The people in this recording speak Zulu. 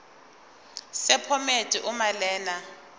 sephomedi uma lena